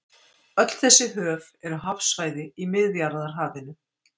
Öll þessi höf eru hafsvæði í Miðjarðarhafinu.